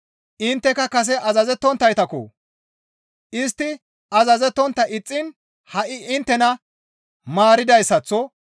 Intteka kase azazettonttaytakko! Istti azazettontta ixxiin ha7i inttena maaridayssaththo;